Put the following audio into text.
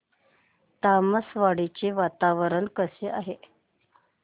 तामसवाडी चे वातावरण कसे आहे